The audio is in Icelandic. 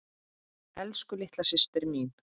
Elsku litla systir mín.